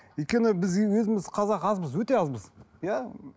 өйткені біз өзіміз қазақ азбыз өте азбыз иә